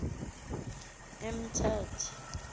emtata